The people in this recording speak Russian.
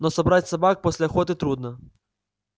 но собрать собак после охоты трудно